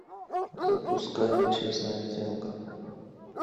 запускай честная сделка